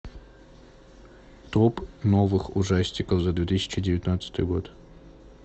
топ новых ужастиков за две тысячи девятнадцатый год